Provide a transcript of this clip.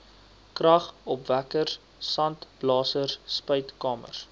kragopwekkers sandblasers spuitkamers